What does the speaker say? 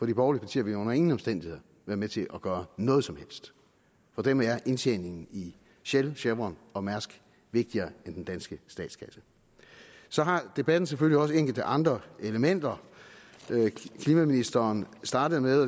de borgerlige partier vil under ingen omstændigheder være med til at gøre noget som helst for dem er indtjeningen i shell chevron og mærsk vigtigere end den danske statskasse så har debatten selvfølgelig også enkelte andre elementer klimaministeren startede med